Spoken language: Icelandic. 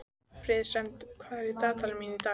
Friðsemd, hvað er í dagatalinu mínu í dag?